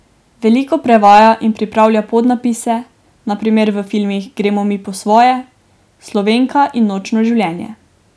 Veliko prevaja in pripravlja podnapise, na primer v filmih Gremo mi po svoje, Slovenka in Nočno življenje.